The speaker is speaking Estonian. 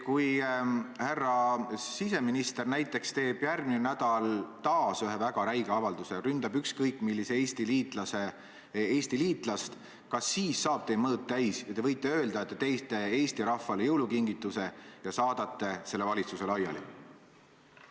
Kui härra siseminister näiteks teeb järgmine nädal taas ühe väga räige avalduse ja ründab ükskõik millist Eesti liitlast, kas siis saab teie mõõt täis ja te võite öelda, et te teete Eesti rahvale jõulukingituse ja saadate selle valitsuse laiali?